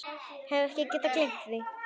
Hef ekki getað gleymt því.